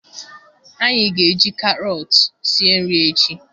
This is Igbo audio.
Anyị ga-eji karọtụ sie nri echi